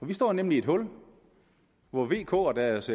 vi står nemlig i et hul hvor vk og deres